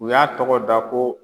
U y'a tɔgɔ da ko